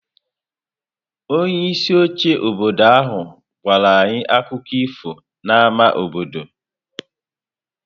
Onye isi oche obodo ahụ gwara anyị akụkọ ifo n'ámá obodo.